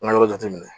An ka yɔrɔ jate minɛ